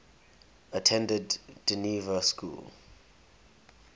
attended dynevor school